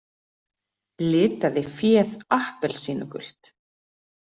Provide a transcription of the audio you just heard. Litaði féð appelsínugult